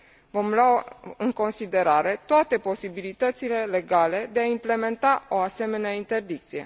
Vom lua în considerare toate posibilitățile legale de a implementa o asemenea interdicție.